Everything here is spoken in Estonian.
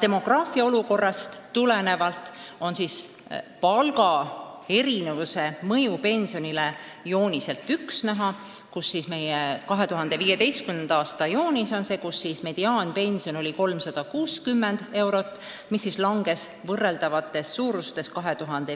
Demograafilisest olukorrast tulenebki see, et kui 2015. aastal oli mediaanpension 360 eurot, siis võrreldavaid suurusi arvesse võttes oleks see